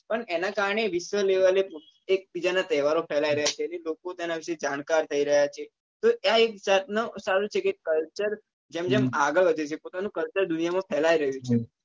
પણ એના કારણે વિશ્વ level એ એક બીજા ના તહેવાર ઓ ફેલાઈ રહ્યા છે ને લોકો તેના વિશે જાણકાર થઇ રહ્યા છે તો આ એક જાત નું સારું છે કે culture જેમ જેમ આગળ વધે છે પોતાનું culture દુનિયા માં ફેલાઈ રહ્યું છે